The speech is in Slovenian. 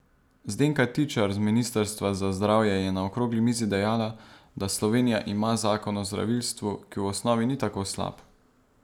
Zdenka Tičar z ministrstva za zdravje je na okrogli mizi dejala, da Slovenija ima zakon o zdravilstvu, ki v osnovi ni tako slab.